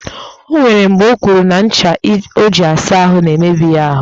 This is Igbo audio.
O nwere mgbe o kwuru na ncha o ji asa ahụ na-emebi ya ahụ